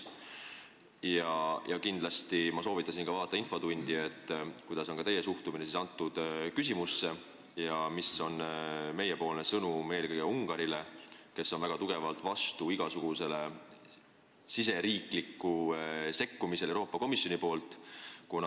Ma soovitasin tal kindlasti vaadata ka infotundi, et saada selgust, milline on teie suhtumine sellesse küsimusse ja milline on meie sõnum eelkõige Ungarile, kes on väga tugevalt vastu igasugusele riigisisesele sekkumisele Euroopa Komisjoni poolt.